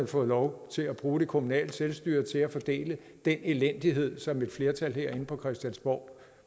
fået lov til at bruge det kommunale selvstyre til at fordele den elendighed som et flertal herinde på christiansborg